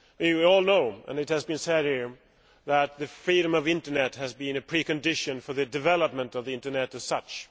We all know, and it has been said here, that the freedom of internet has been a pre condition for the development of the internet as such.